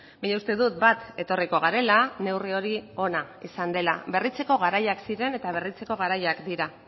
baina uste dut bat etorriko garela neurri hori ona izan dela berritzeko garaiak ziren eta berritzeko garaiak dira